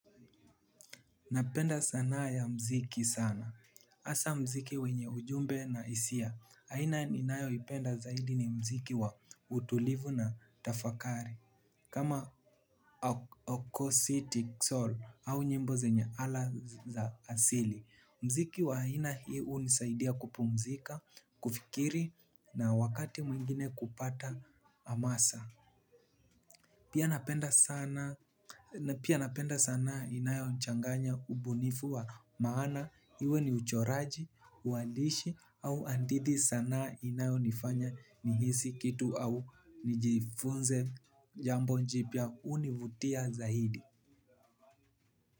Napenda sanaa ya mziki sana. Asa mziki wenye ujumbe na hisia. Haina ninayo ipenda zaidi ni mziki wa utulivu na tafakari. Kama Oko City Soul au nyimbo zenye ala za asili. Mziki wa haina hii hunisaidia kupumzika, kufikiri na wakati mwingine kupata amasa. Pia napenda sana. Na pia napenda sanaa inayochanganya ubunifu wa maana. Iwe ni uchoraji, uandishi au hadithi sanaa inayo nifanya nihisi kitu au nijifunze. Jambo jipya hunivutia zaidi.